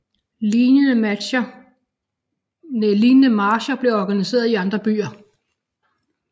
Lignende marcher blev organiseret i andre byer